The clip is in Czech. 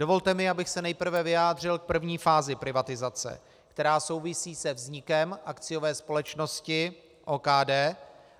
Dovolte mi, abych se nejprve vyjádřil k první fázi privatizace, která souvisí se vznikem akciové společnosti OKD